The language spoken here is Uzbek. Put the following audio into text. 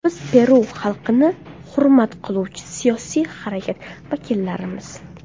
Biz Peru xalqini hurmat qiluvchi siyosiy harakat vakillarimiz.